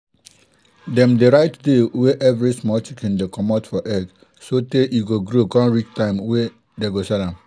dem dey write day wey everi small chicken dey commot for egg so tey e go grow con reach time wey dey go sell am.